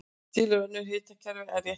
Til eru önnur hnitakerfi en rétthyrnd.